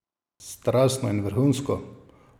Strastno in vrhunsko!